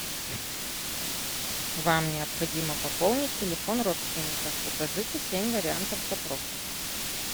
вам необходимо пополнить телефон родственника укажите семь вариантов запросов